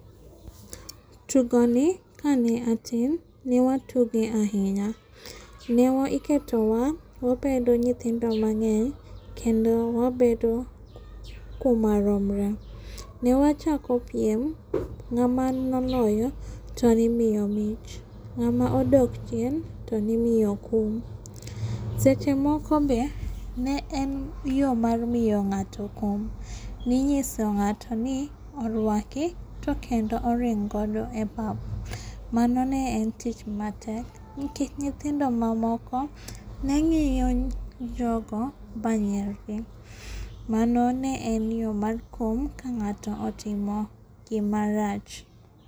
Tugoni kane atin ne watuge ahinya. Ne iketowa wabedo nyithindo mang'eny kendo wabedo kuma romre. Newachako piem ng'ama noloyo to ne imiyo mich ng'ama odok chien to ni miyo kum. Seche moko be ne en yo mar miyo ng'ato kum. Ninyiso ng'atoni orwaki to kendo oring godo epapa. Mano ne en tich matek nikech nyithindo mamoko ne ng'iyo jogo manyiergi. Mano ne en yo mar kum ka ng'ato otimo gima rach.